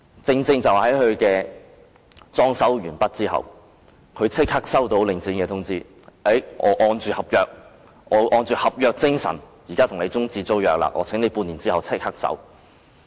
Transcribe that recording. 正正在酒樓裝修完畢後，他便收到領展的通知，表示按照合約精神與他終止租約，請他半年後立即搬走。